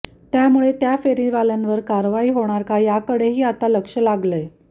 त्यामुळे त्या फेरीवाल्यांवर कारवाई होणार का याकडंही आता लक्ष लागलंय